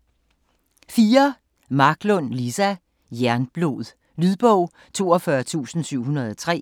Marklund, Liza: Jernblod Lydbog 42703